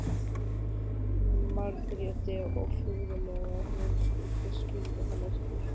Margréti og furðulegt að hún skyldi skilja hann eftir.